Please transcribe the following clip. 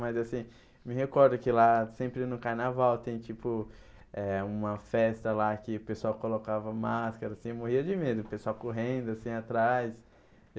Mas assim, me recordo que lá sempre no carnaval tem tipo eh uma festa lá que o pessoal colocava máscara, assim, eu morria de medo, o pessoal correndo assim atrás.